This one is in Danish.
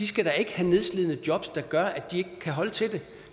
skal have nedslidende jobs der gør at de ikke kan holde til